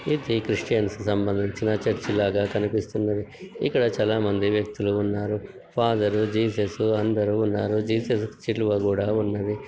ఇది క్రిస్టియన్స్ కి సంబంధించిన చర్చి లాగా కనిపిస్తమున్నది ఇక్కడ చాలా మంది వ్యక్తులు ఉన్నారు. ఫాదర్ జీసస్ అందరు ఉన్నారు జీసస్ సిలువ కూడా ఉన్నదీ.